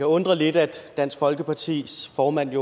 undre lidt at dansk folkepartis formand